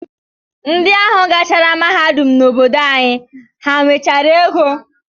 Ndị ahụ gara mahadum n'obodo anyị, ha nwechara ego?